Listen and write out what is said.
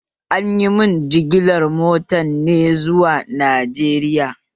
Anyi min jigilar motar ne zuwa Najeriya